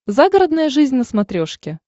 загородная жизнь на смотрешке